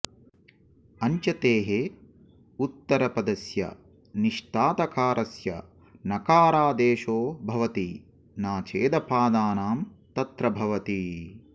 अञ्चतेः उत्तरपदस्य निष्थातकारस्य नकारादेशो भवति न चेदपादानं तत्र भवति